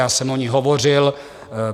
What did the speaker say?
Já jsem o ní hovořil.